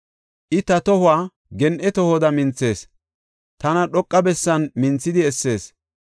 I ta tohuwa gen7e tohoda minthees; tana dhoqa bessan minthidi essees.